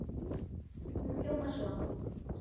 Hún hljómar svo